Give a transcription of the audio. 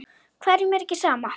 Hverjum er ekki sama.